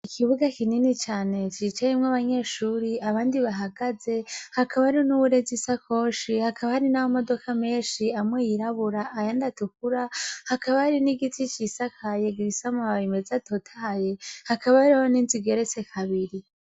Ikibuga kinini cane cicayimwo abanyeshuri abandi bahagaze hakaba hari n'uwurezi isakoshi hakaba hari n'aba modoka menshi amwe yirabura aya ndatukura hakaba hari n'igiti cisakaye gisamu habimezi atotaye hakaba ariho n'inzigeretse kabiri.